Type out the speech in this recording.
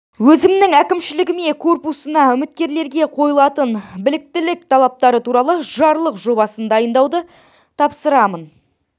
өзімнің әкімшілігіме корпусына үміткерлерге қойылатын біліктілік талаптары туралы жарлық жобасын дайындауды тапсырамын